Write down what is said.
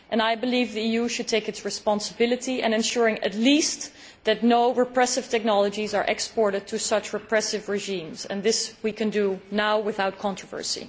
I believe the EU should take its responsibility in ensuring, at least, that no repressive technologies are exported to such repressive regimes, and this we can do now without controversy.